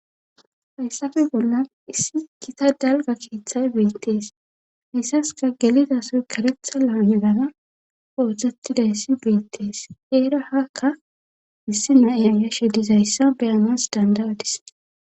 hayssafe bollan issi kita dalga keeththay beettees hayssaska gelida soy karetha laanegara booztzatidayssi beettees eera hakka issi naiyan yashe dizayssa beyanas danda7adis